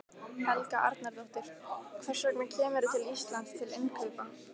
Helga Arnardóttir: Hvers vegna kemurðu til Íslands til innkaupa?